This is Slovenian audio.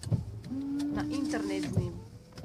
Na internet z njim!